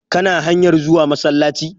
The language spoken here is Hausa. Kana hanyar zuwa masallaci?